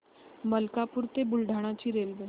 मलकापूर ते बुलढाणा ची रेल्वे